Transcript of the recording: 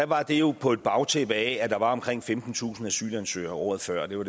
var det jo på et bagtæppe af at der var omkring femtentusind asylansøgere året før det var